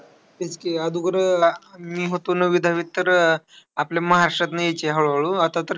तेच की अगोदर मी अह होतो नववी-दहावीत तर, अह आपल्या महाराष्ट्रातून यायचे हळू-हळू. आता तर,